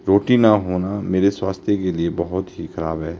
रोटी ना होना मेरे स्वास्थ्य के लिए बहुत ही खराब है।